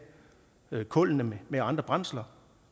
kullene med andre brændsler